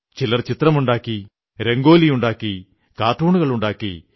ചിലർ ചിത്രമുണ്ടാക്കി രംഗോലിയുണ്ടാക്കി കാർട്ടൂണുണ്ടാക്കി